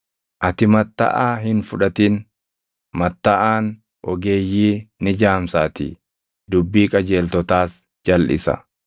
“Ati mattaʼaa hin fudhatin; mattaʼaan ogeeyyii ni jaamsaatii; dubbii qajeeltotaas jalʼisa.